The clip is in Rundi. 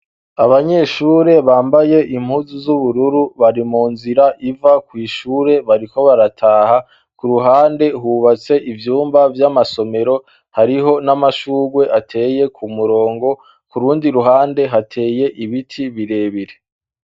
Abanyeshure bambaye impuzu z'ubururu bari mu nzira iva kw'ishure bariko barataha ku ruhande hubatse ivyumba vy'amasomero hariho n'amashurwe ateye ku murongo ku rundi ruhande hateye ibiti birebire.